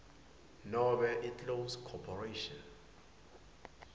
nobe iclose corporation